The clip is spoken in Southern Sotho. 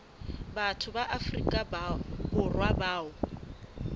batho ba afrika borwa bao